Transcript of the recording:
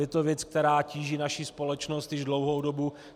Je to věc, která tíží naši společnost již dlouhou dobu.